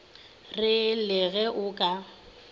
re le ge o ka